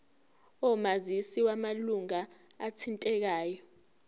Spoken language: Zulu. omazisi wamalunga athintekayo